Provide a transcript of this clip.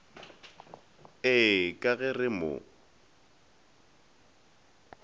ee ka ge re mo